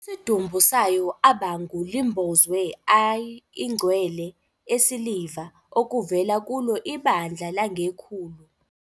Isidumbu sayo abangu limbozwe a ingcwele esiliva, okuvela kulo ibandla langekhulu